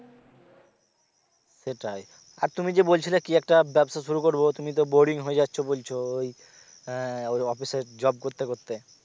সেটাই আর তুমি যে বলছিলে কি একটা ব্যাবসা শুরু করবো তুমি তো boring হয়ে যাচ্ছো বলছো ওই আহ ওই অফিসের জব করতে করতে